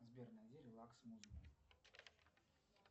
сбер найди релакс музыку